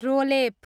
रोलेप